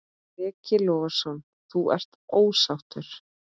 Breki Logason: Þú ert ósáttur?